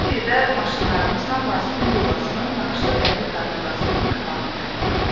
Saat 1-də maşınlarımızla Vasifin villasının naxışlı dəmir darvazasının qabağında idik.